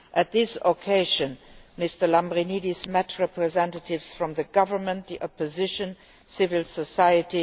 On this occasion Mr Lambrinidis met representatives from the government, the opposition and civil society